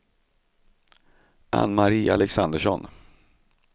Ann-Marie Alexandersson